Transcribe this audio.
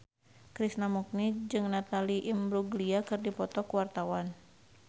Krishna Mukti jeung Natalie Imbruglia keur dipoto ku wartawan